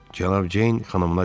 Cənab Ceyn xanımına dedi.